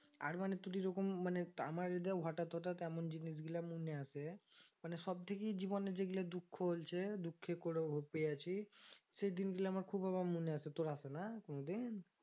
আর মানে তোর এরকম মানে আমার এই দেহটা হঠাৎ হঠাৎ এমন জিনিস গুলি মনে আসে মানে সবথেকে জীবনে যেগুলা দুঃখ হয়েছে দুঃখ করে পেয়েছি সেদিন বলে আবার খুব আমার মনে আসে তোর আসে না কোনদিন